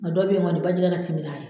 Nga dɔ bɛ ye kɔni bajɛ ka timi n'a ye.